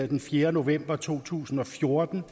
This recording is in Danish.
den fjerde november to tusind og fjorten